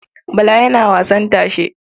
Bala yana wasan tashe.